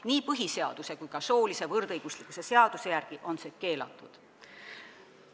Nii põhiseaduse kui ka soolise võrdõiguslikkuse seaduse järgi on see keelatud.